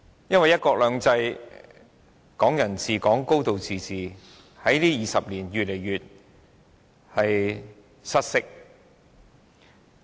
因為"一國兩制"、"港人治港"、"高度自治"在這20年間越來越失色。